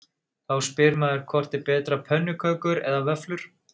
Þá spyr maður hvort er betra pönnukökur eða vöfflur?